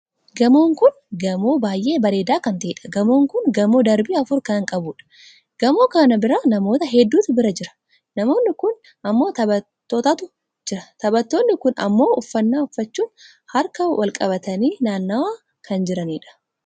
Gamoon kun gamoon baay'ee bareedaa kan taheedha. gamoon kun gamoon darbii afur kan qabuudha. gamoo kana bira namoota hedduutu bira jira. namoon kun ammoo taphattootatu jira. taphattoonni kun ammoo uffannaa uffachuun harka wal qabatanii naanna'aa kan jiraniidha.